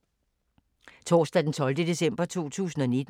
Torsdag d. 12. december 2019